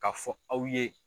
K'a fɔ aw ye.